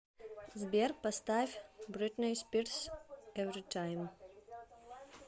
сбер поставь бритни спирс эвритайм